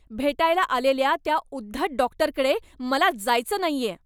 भेटायला आलेल्या त्या उद्धट डॉक्टरकडे मला जायचं नाहीये.